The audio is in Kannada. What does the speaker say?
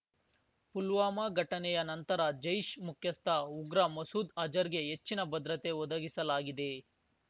ಪುಲ್ವಾಮ ಘಟನೆಯ ನಂತರ ಜೈಶ್ ಮುಖ್ಯಸ್ಥ ಉಗ್ರ ಮಸೂದ್ ಅಜರ್ ಗೆ ಹೆಚ್ಚಿನ ಭದ್ರತೆ ಒದಗಿಸಲಾಗಿದೆ